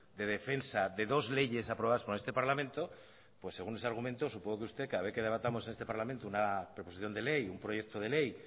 de defensa de dos leyes aprobadas por este parlamento pues según ese argumento supongo que usted cada vez que debatamos en este parlamento una proposición de ley un proyecto de ley